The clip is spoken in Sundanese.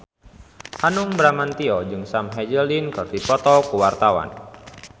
Hanung Bramantyo jeung Sam Hazeldine keur dipoto ku wartawan